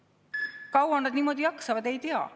Kui kaua nad niimoodi jaksavad, ei tea.